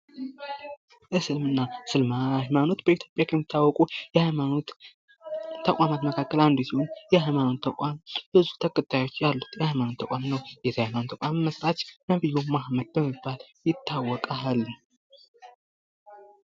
እስልምና ሃይማኖት በኢትዮጲያ ውስጥ ከሚታወቁ ሃይማኖት ተቋማት መካከል አንዱ ሲሆን ይህ የሃይማኖት ተቋም ብዙ ተከታዮች ያሉት የሐይማኖት ተቋም ነው። የዚህ ሀይማኖት መስራች ነብዩ መሀመድ በመባል ይታወቃል።